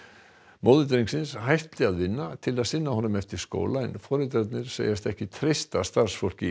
móðir drengsins hætti að vinna til að sinna honum eftir skóla en foreldrarnir segjast ekki treysta starfsfólki